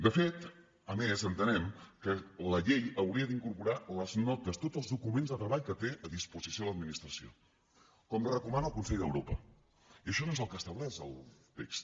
de fet a més entenem que la llei hauria d’incorporar les notes tots els documents de treball que té a disposició l’administració com recomana el consell d’europa i això no és el que estableix el text